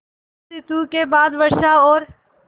शरत ॠतु के बाद वर्षा और